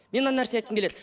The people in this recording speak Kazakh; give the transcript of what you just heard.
мен мына нәрсе айтқым келеді